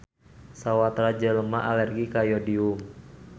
Sawatara jelema alergi ka yodium